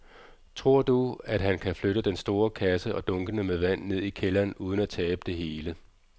Tror du, at han kan flytte den store kasse og dunkene med vand ned i kælderen uden at tabe det hele?